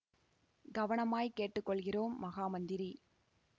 கவனமாய்க் கேட்டு கொள்கிறோம் மகா மந்திரி